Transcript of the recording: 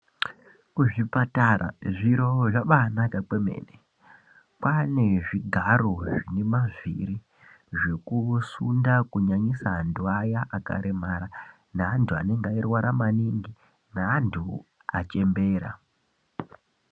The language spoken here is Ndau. Kuzvipatara zviro zvabanaka kwemene. Kwane zvigaro zvine mavhiri zvekusunda kunyanisa antu aya akaremara, neantu anenge ayirwara maningi neantu achembera.